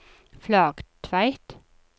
Flaktveit